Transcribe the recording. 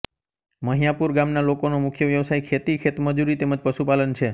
મહીયાપુર ગામના લોકોનો મુખ્ય વ્યવસાય ખેતી ખેતમજૂરી તેમ જ પશુપાલન છે